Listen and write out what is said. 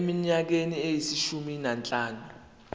eminyakeni eyishumi nanhlanu